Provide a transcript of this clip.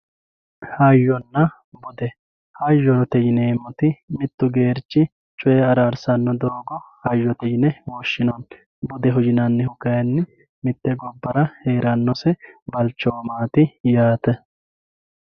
hayyonna bude hayyote yineemmoti mittu geerchi coye araarsanno doogo hayyote yine woshshinanni budeho yinannihu kayinni mitte gobbara heerannosi balchoomati yaate